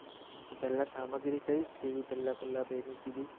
તો પહેલા સામગ્રી કઈ સી પહેલા પહેલા બેની કીધી